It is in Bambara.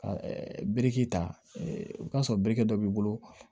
Ka biriki ta o ka sɔrɔ biriki dɔ b'i bolo